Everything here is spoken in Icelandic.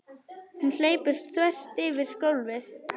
Hún hleypur þvert yfir gólfið.